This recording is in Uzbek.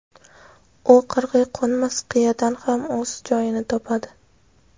u qirg‘iy qo‘nmas qiyadan ham o‘z joyini topadi!.